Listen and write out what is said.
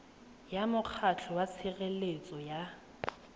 ya mokgatlho wa tshireletso ya